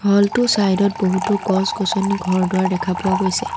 হল টোৰ চাইড ত বহুতো গছ-গছনি ঘৰ দুৱাৰ দেখা পোৱা গৈছে।